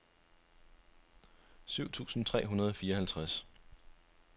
syv tusind tre hundrede og fireoghalvtreds